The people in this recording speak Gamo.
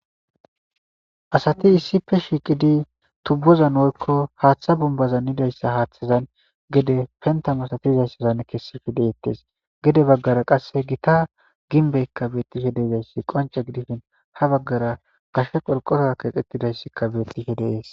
asati issipe shiiqidi tubbozan oykko haaththa bumbaza nidayssa haaththazan gede pentamasatizayssazan kessifi deyettes gede baggara qasse gita ginbeykka beettihe deeizayssi qonce gidifin ha baggara gashe qolqora keeqettidayssikka beettihe deees